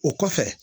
O kɔfɛ